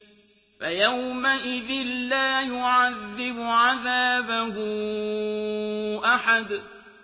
فَيَوْمَئِذٍ لَّا يُعَذِّبُ عَذَابَهُ أَحَدٌ